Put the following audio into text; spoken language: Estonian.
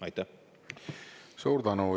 Suur tänu!